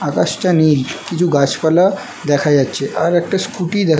আকাশটা নীল কিছু গাছপালা দেখা যাচ্ছে আর একটা স্কুটি দেক --